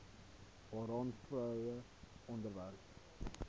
waaraan vroue onderwerp